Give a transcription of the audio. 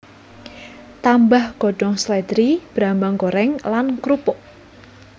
Tambah godhong slèdri brambang goreng lan krupuk